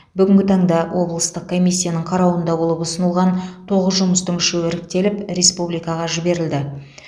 бүгінгі таңда облыстық комиссияның қарауында болып ұсынылған тоғыз жұмыстың үшеуі іріктеліп республикаға жіберілді